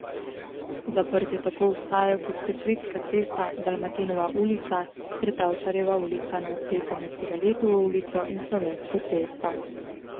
Zaprte tako ostajajo Gosposvetska cesta, Dalmatinova ulica ter Tavčarjeva ulica na odseku med Cigaletovo ulico in Slovensko cesto.